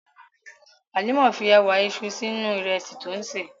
Hàlímà fí èwà èṣú sínu ìrẹ̀sì tí o n ṣé.